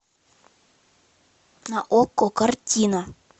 на окко картина